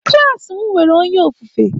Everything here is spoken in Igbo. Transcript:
Klas m nwere onye ofufe.